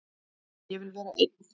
Ég vil vera einn.